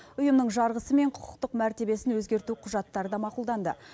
ұйымның жарғысы мен құқықтық мәртебесін өзгерту құжаттары да мақұлданды